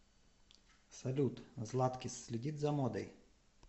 салют златкис следит за модой